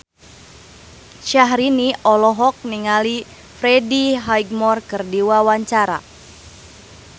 Syahrini olohok ningali Freddie Highmore keur diwawancara